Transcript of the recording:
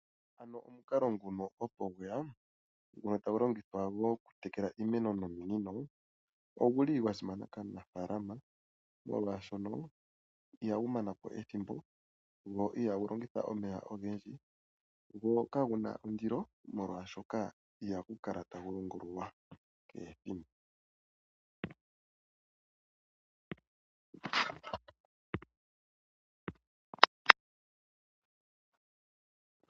Omukalo ngono opo gwe ya, ngono tagu longithwa gokutekela iimeno nominino ogu li gwa simana kaanafaalama, molwashono ihagu mana po ethimbo go ihagu longitha omeya ogendji, go kagu na ondilo, molwashoka ihagu kala tagu longululwa kehe ethimbo.